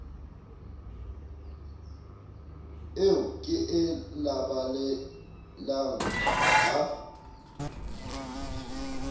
eo ke e labalabelang ha